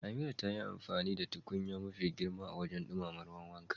Amira ta yi amfani da tukunya mafi girma wajen dumama ruwan wanka.